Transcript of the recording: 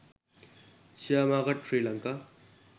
share market sri lanka